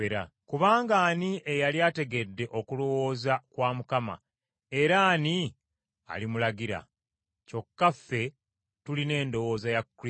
“Kubanga ani eyali ategedde okulowooza kwa Mukama, era ani alimulagira? Kyokka ffe tulina endowooza ya Kristo.”